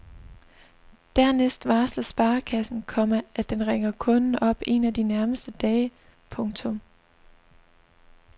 Dernæst varsler sparekassen, komma at den ringer kunden op en af de nærmeste dage. punktum